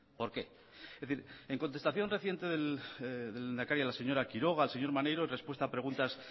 por qué es decir en contestación reciente del lehendakari a la señora quiroga al señor maneiro en respuesta a preguntas